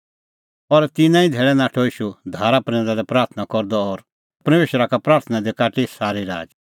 और तिन्नां ई धैल़ै नाठअ ईशू धारा प्रैंदा लै प्राथणां करदअ और परमेशरा का प्राथणां दी काटी सारी राच